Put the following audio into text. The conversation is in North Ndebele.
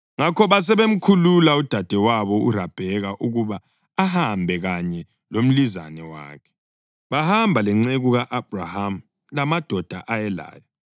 Ngakho basebemkhulula udadewabo uRabheka ukuba ahambe kanye lomlizane wakhe, bahamba lenceku ka-Abhrahama lamadoda ayelayo.